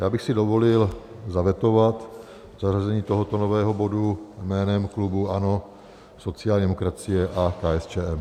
Já bych si dovolil zavetovat zařazení tohoto nového bodu jménem klubu ANO, sociální demokracie a KSČM.